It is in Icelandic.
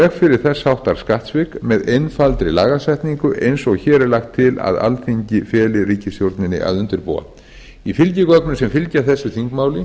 þess háttar skattsvik með einfaldri lagasetningu eins og hér er lagt til að alþingi feli ríkisstjórninni að undirbúa í fylgigögnum sem fylgja þessu þingmáli